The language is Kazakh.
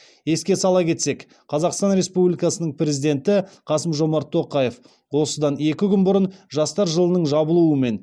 еске сала кетсек қазақстан республикасының президенті қасым жомарт тоқаев осыдан екі күн бұрын жастар жылының жабылуымен